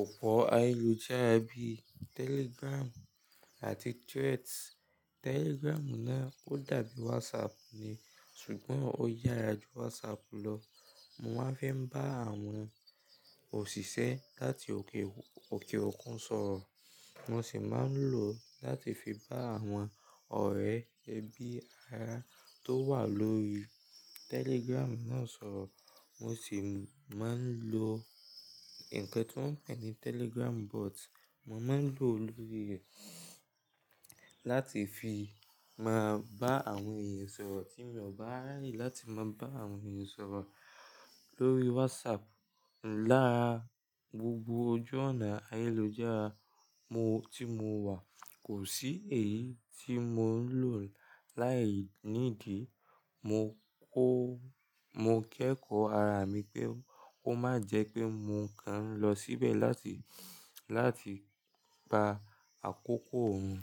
òpó ayélujára bíi Telegram àti Threads. Telegram náà ó dàbí WhatsApp ni ṣùgbọ́n ó yára ju WhatsApp lọ. Mo máa fẹ́ ń bá àwọn òṣìṣẹ́ láti òkè òkè òkun sọ̀rọ̀. Mo sì máa ń lò ó láti fi bá àwọn ọ̀rẹ́ ẹbí ará tó wà lórí Telegram náà sọ̀rọ̀. Mo sì máa ń lo ǹkan tí wọ́n pè ní Telegram bot. Mo máa ń lò ó lórí rẹ̀ láti fi máa bá àwọn ènìyàn sọ̀rọ̀ tí mò bá rẹ́rìn láti máa bá àwọn ènìyàn sọ̀rọ̀ lórí WhatsApp. Lara gbogbo ojú ònà ayélujára mo, tí mo wà kò sí èyí tí mò ń lò láìnídí. Mo kó, mo kẹ́kọ̀ọ́ ara mi pé ó má jẹ́ pé mo kan lọ síbẹ̀ láti, láti pa àkókò wọn.